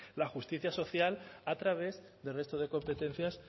la justicia social a través del resto de competencias